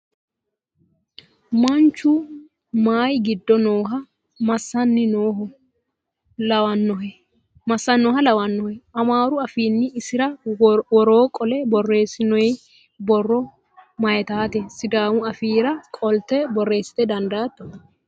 Manchu mayii giddo nooho? Massanni nooha lawannohe? Amaaru afiinni isira woroo qolle borreessinoyi borro mayiitate? Sidaamu afiira qolte borreessite dandaatto?